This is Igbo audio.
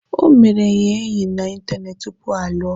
O mere ya enyi na ịntanetị tupu ha alụọ.